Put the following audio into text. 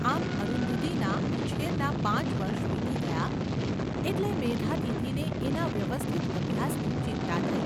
આમ અરુંધતીના ઉછેરનાં પાંચ વર્ષ વીતી ગયાં એટલે મેઘાતિથિને એના વ્યવસ્થિત અભ્યાસની ચિંતા થઈ.